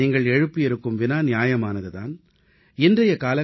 நீங்கள் எழுப்பி இருக்கும் வினா நியாயமானது தான் உங்களது ஆர்வம் இயற்கையானதுதான்